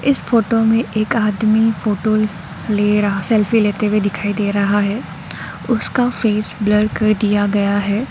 इस फोटो में एक आदमी फोटो ले रहा सेल्फी लेते हुए दिखाई दे रहा है उसका फेस ब्लर कर दिया गया है।